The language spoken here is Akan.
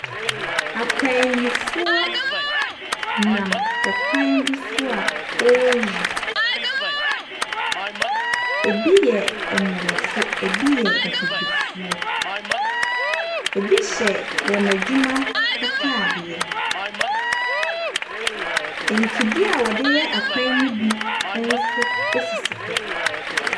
Akwanyifoɔ nam ɛkwanb bi so a wɔreyi. Ebi yɛ Mmorɔfo, ebi yɛ Abibifo. Ebi hyɛ wɔn adwuma ataadeɛ. Mfidie a wɔde yɛ akwan no bi nso esisi hɔ.